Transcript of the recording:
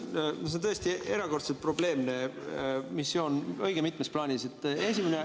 Nojah, see on tõesti erakordselt probleemne missioon õige mitmes plaanis.